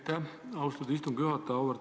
Aitäh, austatud istungi juhataja!